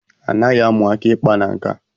Anaghi amu aka ikpa na nka.